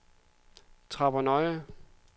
Tappernøje